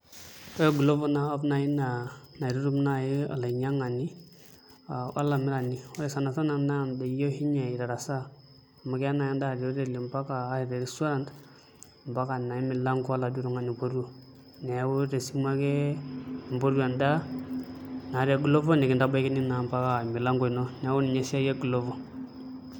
Ore Glovo naa app nai naa naitutum nai olainyang'ani olamirani, ore sanasana naa daiki oshinye itarasaa. Amu keya nai endaa te oteli ampaka ashua te restaurant, mpaka naa emilanko oladuo tung'ani oipotuo. Neeku tesimu ake impotu endaa, naa te Glovo, nikintabaikini naa mpaka emilanko ino. Neeku ninye esiai e Glovo.